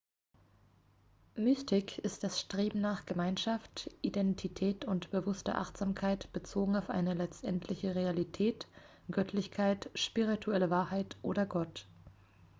mystik ist das streben nach gemeinschaft identität oder bewusster achtsamkeit bezogen auf eine letztendliche realität göttlichkeit spirituelle wahrheit oder gott